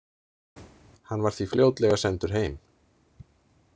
Hann var því fljótlega sendur heim.